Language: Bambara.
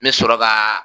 N bɛ sɔrɔ ka